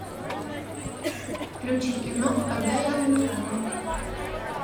включи кино когда я умирала